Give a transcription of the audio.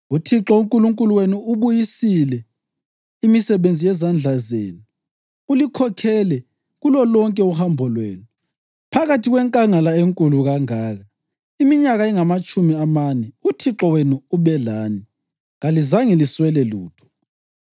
UThixo uNkulunkulu wenu uyibusisile imisebenzi yezandla zenu. Ulikhokhele kulolonke uhambo lwenu phakathi kwenkangala enkulu kangaka. Iminyaka engamatshumi amane uThixo wenu ube lani, kalizange liswele lutho.